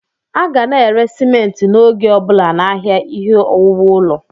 A ga na-ere simenti n'oge ọbụla n'ahịa ihe owuwu ụlọ.